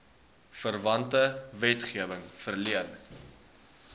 verwante wetgewing verleen